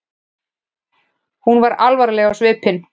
Hún var alvarleg á svipinn.